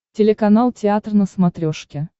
телеканал театр на смотрешке